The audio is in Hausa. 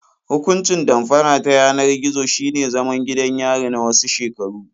Hukuncin damfara ta yanar gizo shine zaman gidan yari na wasu shekaru.